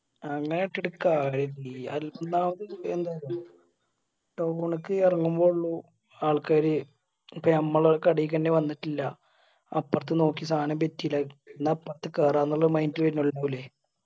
അങ്ങനെ ഇട്ടിട്ട് കാര്യം ഇല്ലല്ലാ ഒന്നാമത് എന്താറിയോ town ക്ക് എറങ്ങുമ്പോ ഉള്ളു ആൾക്കാര് ഇപ്പൊ ഞമ്മളെ കടയിക്കെന്നെ വന്നിട്ടില്ല അപ്രത് നോക്കി സാനം എന്ന അപ്രത് കേറാന്ന് ഇല്ല mind വന്നിരിക്കുല്ലേ